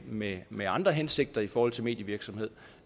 med med andre hensigter i forhold til medievirksomhed